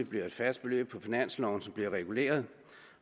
bliver et fast beløb på finansloven som bliver reguleret